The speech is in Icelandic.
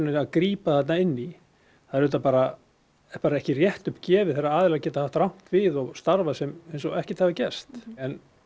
við að grípa þarna inn í það er auðvitað bara ekkert rétt upp gefið þegar aðilar geta haft rangt við og starfað eins og ekkert hafi gerst en